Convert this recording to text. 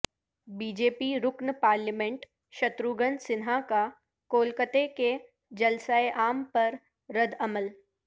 be J P رکن parliament Shatrughan Sinha کا کولکتے کے جلسہ عام پر ردعمل